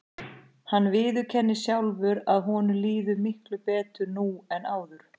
Hann viðurkennir sjálfur að honum líði miklu betur nú en áður.